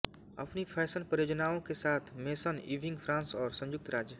अपनी फैशन परियोजनाओं के साथ मेसन इविंग फ्रांस और संयुक्त राज्य